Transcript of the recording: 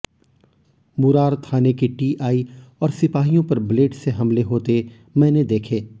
मुरार थाने के टीआई और सिपाहियों पर ब्लेड से हमले होते मैंने देखे